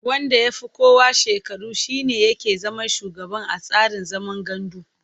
Wanda ya fi kowa shekaru shi ne yake zama shugaba a tsarin zaman gandu.